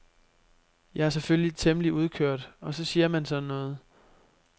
Jeg er selvfølgelig temmelig udkørt og så siger man sådan noget.